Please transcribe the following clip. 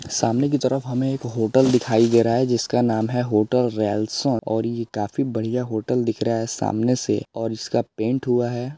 सामने की तरफ की हमे एक होटल दिखाई दे रहा है जिस का नाम है होटल रेलसो और ये काफी बड़िया होटल दिख रहा है सामने से और इसका पेंट हुआ है।